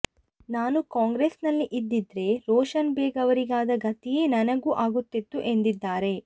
ನಾನೂ ಕಾಂಗ್ರೆಸ್ಸಿನಲ್ಲಿ ಇದ್ದಿದ್ರೆ ರೋಷನ್ ಬೇಗ್ ಅವರಿಗಾದ ಗತಿಯೇ ನನಗೂ ಆಗುತ್ತಿತ್ತು ಎಂದಿದ್ದಾರೆ